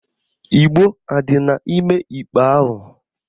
Igbo adị n'ime igbe ahụ?